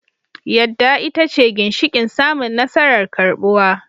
Yadda ita ce ginshiƙin samun nasarar karɓuwa